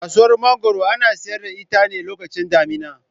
Kasuwar Mangoro ana sayar da ita ne a lokacin damina.